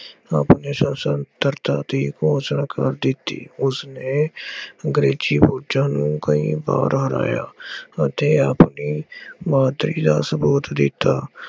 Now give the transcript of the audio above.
ਆਪਣੇ ਸਾਸ਼ਨ ਚਰਚਾ ਦੀ ਘੋਸ਼ਣਾ ਕਰ ਦਿੱਤੀ। ਉਸਨੇ ਅੰਗਰੇਜ਼ੀ ਫੌਜਾਂ ਨੂੰ ਕਈ ਵਾਰ ਹਰਾਇਆ ਅਤੇ ਆਪਣੀ ਬਹਾਦਰੀ ਦਾ ਸਬੂਤ ਦਿੱਤਾ।